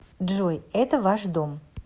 джой это ваш дом